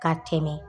Ka tɛmɛ